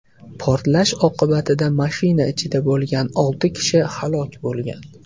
Portlash oqibatida mashina ichida bo‘lgan olti kishi halok bo‘lgan.